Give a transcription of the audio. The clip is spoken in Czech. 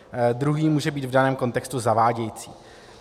Druhý může být v daném kontextu zavádějící.